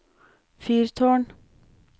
fyrtårn